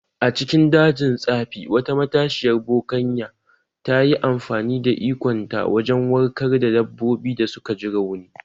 A cikin dajin tsafi, wata matashiyar bokanya ta yi amfani da ikonta wajen warkar da dabbobin da suka ji rauni